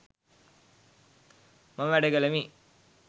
මම වැඩ කළෙමි